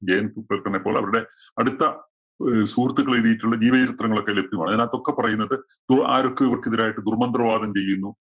പോലെ അവരുടെ അടുത്ത ഒരു സുഹൃത്തുക്കള്‍ എഴുതിയിട്ടുള്ള ജീവചരിത്രങ്ങളൊക്കെ ലഭ്യമാണ്. അതിനകത്ത് ഒക്കെ പറയുന്നത് ദോ, ആരൊക്കെയോ ഇവര്‍ക്ക് എതിരായിട്ട് ദുര്‍മന്ത്രവാദം ചെയ്യുന്നു.